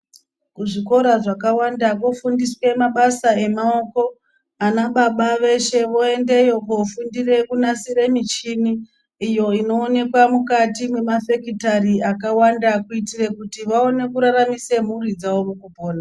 Kuzvikora zvakawanda kwofundiswe mabasa emaoko ana baba veshe voendeyo kofundire kunasire michini iyo inoonekwa mukati mwemafekitari akawanda kuitire kuti vaone kuraramise mhuri dzavo mukupona.